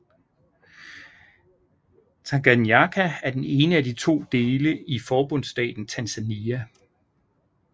Tanganyika er den ene af de to dele i forbundsstaten Tanzania